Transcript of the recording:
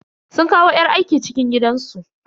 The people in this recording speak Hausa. Sun kawo yar aiki cikin gidansu.